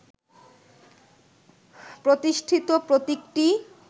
প্রতিষ্ঠিত প্রতীকটি